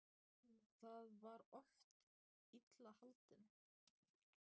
Þá var ég oft illa haldinn.